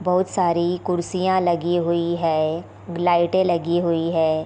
बहुत सारी कुर्सियाँ लगी हुई हैं लाइटें लगी हुई है।